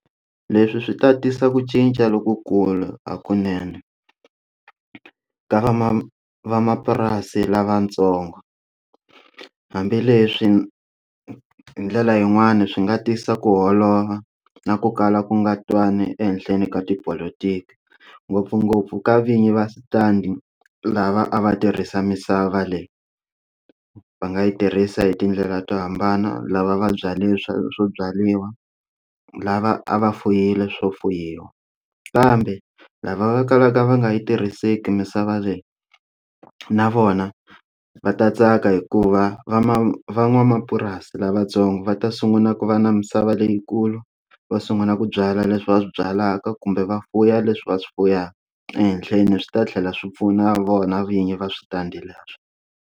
Leswi swi ta tisa ku cinca lokukulu hakunene ka vamana vamapurasi lavatsongo hambileswi hi ndlela yin'wani swi nga tisa ku holova na ku kala ku nga twani ehenhleni ka tipolotiki ngopfungopfu ka vinyi va switandi lava a va tirhisa misava leyi va nga yi tirhisa hi tindlela to hambana lava va byali swilo swo byariwa lava a va fuyile swo fuyiwa kambe lava va kalaka va nga yi tirhiseki misava leyi na vona va ta tsaka hikuva vama van'wamapurasi lavatsongo va ta sungula ku va na misava leyikulu va sungula ku byala leswi va swi byalaka kumbe va fuya leswi va swi fuyaka ehenhleni swi ta tlhela swi pfuna vona vinyi va switandi leswo.